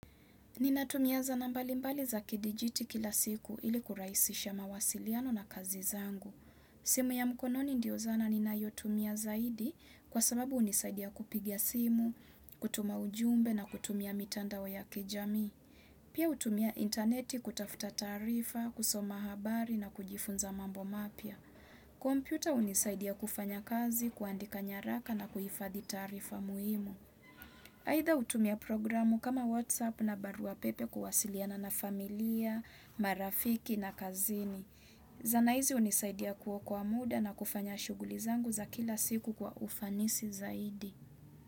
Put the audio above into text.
Ninatumi zana mbali mbali za kidijiti kila siku ili kurahisisha mawasiliano na kazi zangu. Simu ya mkononi ndio zana ninayotumia zaidi kwa sababu hunisaidia kupigia simu, kutuma ujumbe na kutumia mitandao ya kijamii. Pia hutumia interneti kutafuta taarifa, kusoma habari na kujifunza mambo mapya. Kompyuta hunisaidia kufanya kazi, kuandika nyaraka na kuhifadhi tarifa muhimu. Aidha hutumia programu kama WhatsApp na barua pepe kuwasiliana na familia, marafiki na kazini. Wana nchi hunisaidia kuokoa muda na kufanya shughuli zangu za kila siku kwa ufanisi zaidi.